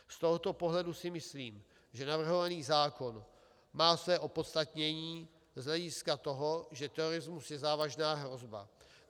Z tohoto pohledu si myslím, že navrhovaný zákon má své opodstatnění z hlediska toho, že terorismus je závažná hrozba.